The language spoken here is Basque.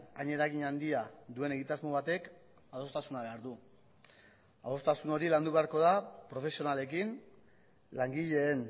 hain eragin handia duen egitasmo batek adostasuna behar du adostasun hori landu beharko da profesionalekin langileen